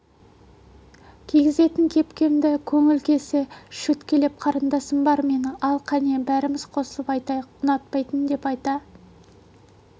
кигізетін кепкемді көңілі келсе шөткелеп қарындасым бар менің ал қәне бәріміз қосылып айтайық ұнатпайтын деп айта